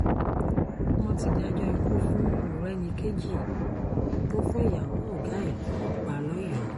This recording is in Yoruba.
wọ́n ti dájọ́ ikú fún morenikeji tó fún ìyàwó ọ̀gá ẹ̀ lọ́run pa lọ́yọ́ọ́